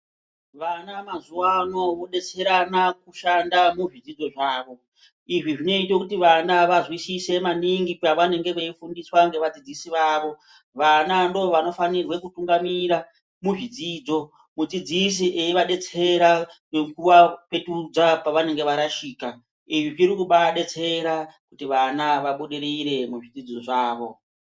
Vana mazuwano vodetserana kushanda muzvidzidzo zvavo, izvi zvinoyita kuti vana vazwisise maningi pavanenge veyifundiswa ngevadzidzisi vavo, vana ndovanofanirwa kutungamirira muzvidzidzo, mudzidzisi eyi vadetsera nokuvapetudza pavanenge varashika, izvi zvirikubadetsera kuti vana vabudirire muzvidzidzo zvavo.